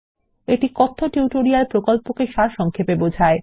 এটি কথ্য টিউটোরিয়াল প্রকল্পকে সারসংক্ষেপে বোঝায়